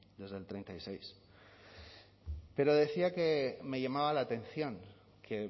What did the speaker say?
desde el treinta y seis pero decía que me llamaba la atención que